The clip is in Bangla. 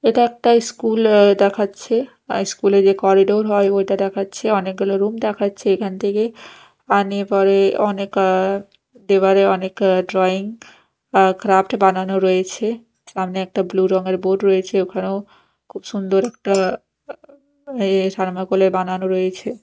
এটা একটা স্কুল অ্যা দেখাচ্ছে আর স্কুল -এর যে করিডোর হয় ওইটা দেখাচ্ছে অনেকগুলো রুম দেখাচ্ছে এখান থেকে আনে পরে অনেক আ দেওয়ালে অনেক ড্রয়িং ক্রাফট বানানো রয়েছে সামনে একটা ব্লু রংয়ের বোর্ড রয়েছে ওখানেও খুব সুন্দর একটা এ থার্মোকল -এর বানানো রয়েছে।